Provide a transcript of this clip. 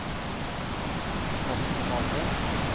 Morten Valle